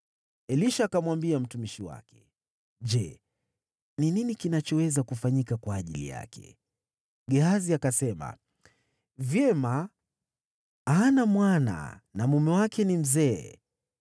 Elisha akamwambia mtumishi wake, “Je, ni nini kinachoweza kufanyika kwa ajili yake?” Gehazi akasema, “Hakika, hana mwana, na mume wake ni mzee.”